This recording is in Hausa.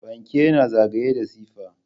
Fanke yana zagaye da siffa.